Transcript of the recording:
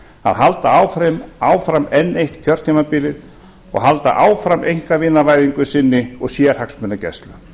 að halda áfram enn eitt kjörtímabilið og halda áfram einkavinavæðingu sinni og sérhagsmunagæslu